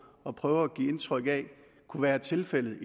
at prøve at give indtryk af kunne være tilfældet